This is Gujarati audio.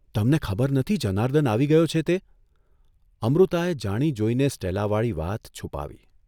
' તમને ખબર નથી જનાર્દન આવી ગયો છે તે?" અમૃતાએ જાણી જોઇને સ્ટેલાવાળી વાત છુપાવી.